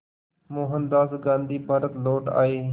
मोहनदास गांधी भारत लौट आए